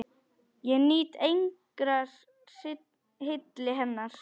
Ég nýt engrar hylli hennar!